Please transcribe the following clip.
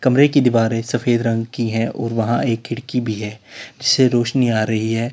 कमरे की दीवारें सफेद रंग की है और वहां एक खिड़की भी है जिससे रोशनी आ रही है।